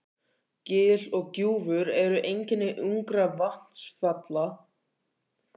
Gil og gljúfur eru einkenni ungra vatnsfalla.